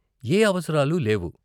ఏ అవసరాలు లేవు.